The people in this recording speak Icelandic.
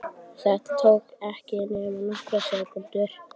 Það tók ekki nema nokkrar sekúndur.